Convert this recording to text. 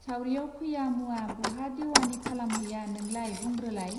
सावरियाव फैया मुवा बहा देउवानि खालामहैया नोंलाय बुंग्रोलाइ.